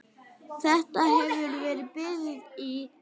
Þetta hefur bitið í?